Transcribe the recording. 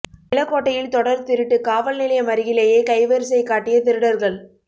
நிலக்கோட்டையில் தொடர் திருட்டு காவல் நிலையம் அருகிலேயே கைவரிசை காட்டிய திருடர்கள்